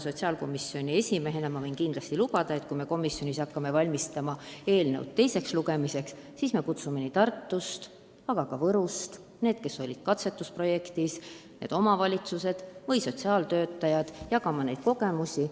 Sotsiaalkomisjoni esimehena võin kindlasti lubada, et kui me komisjonis hakkame eelnõu ette valmistama teiseks lugemiseks, siis me kutsume Tartust ja Võrust kohale omavalitsuste sotsiaaltöötajaid, et nad oma kogemusi jagaksid.